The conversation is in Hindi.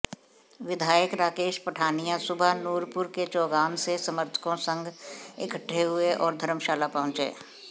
विधायक राकेश पठानिया सुबह नूरपुर के चौगान से समर्थकों संघ इकट्ठे हुए और धर्मशाला पहुंचे